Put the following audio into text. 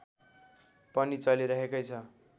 पनि चलिरहेकै छ